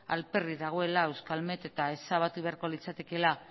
alperrik dagoela euskalmet eta ezabatu beharko litzatekeela